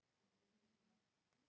Myndi ég gera það?